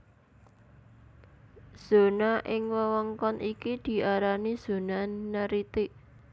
Zona ing wewengkon iki diarani zona neritik